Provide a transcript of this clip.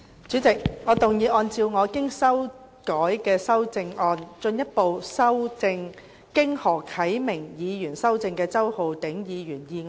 主席，我動議按照我經修改的修正案，進一步修正經何啟明議員修正的周浩鼎議員議案。